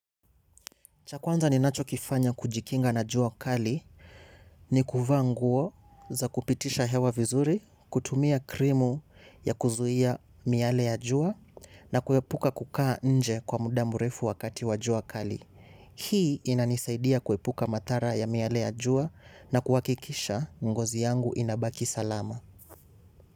Cha kwanza ni nacho kifanya kujikinga na jua kali ni kuvaa nguo za kupitisha hewa vizuri, kutumia krimu ya kuzuhia miale ya jua na kuhepuka kukaa nje kwa mudamurefu wakati wa jua kali. Hii inanisaidia kuepuka mathara ya miale ya jua na kuhakikisha ngozi yangu inabaki salama.